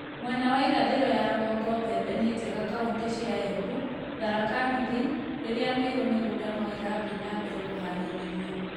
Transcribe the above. Mwena wa irathiro ya rũgongo mbembe ni njega kauntĩ cia Embu, Tharaka Nithi, rĩrĩa Meru mĩgũnda no ĩrathiĩ na mbere kũharĩrio